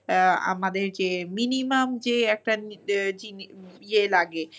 আমাদের যে minimum যে একটা Babble ইয়ে লাগে।